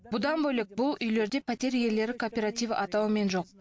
бұдан бөлек бұл үйлерде пәтер иелері кооперативі атауымен жоқ